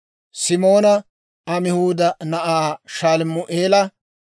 Simoona Amihuuda na'aa Shalumi'eela;